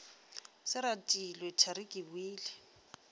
se retilwe thari ke boile